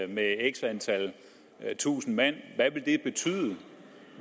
med x antal tusind mand hvad